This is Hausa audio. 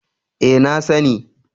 E, na sani.